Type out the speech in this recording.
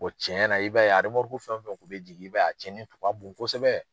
cɛn na i b'a ye a fɛn o fɛn kun be jigin, i b'a ye, a cɛnni tun ka bon kosɛbɛ.